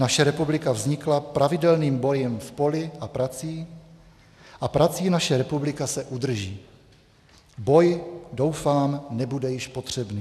Naše republika vznikla pravidelným bojem v poli a prací a prací naše republika se udrží; boj, doufám, nebude již potřebný.